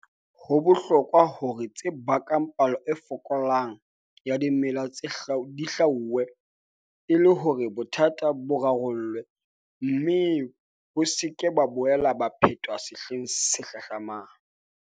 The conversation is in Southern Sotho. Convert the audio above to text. Ho bohlokwa hore tse bakang palo e fokolang ya dimela di hlwauwe, e le hore bothata bo rarollwe, mme bo se ke ba boela ba phetwa sehleng se hlahlamang.